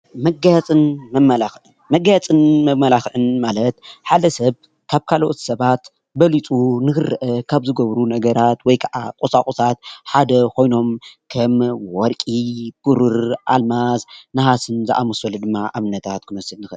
መጋየፅን መማላክዕን፦ ማጋየፅን መማላክዕን ማለትሓደ ሰብ ካብ ካልኦት በሊፁ ንክረአ ካብ ዝገብሩ ነገራት ወይ ድማ ቁሳቁሳት ከም ሓደ ኮይኖም ወርቂ ፣ቡርር፣ ኣልማዝ ፣ነሃስን ዘኣመሰሉ ድማ ኣብነታት ክንወስድ ንክእል፡፡